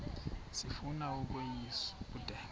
sifuna ukweyis ubudenge